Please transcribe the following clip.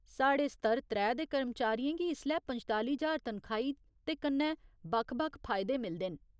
साढ़े स्तर त्रै दे कर्मचारियें गी इसलै पंजताली ज्हार तनखाही ते कन्नै बक्ख बक्ख फायदे मिलदे न।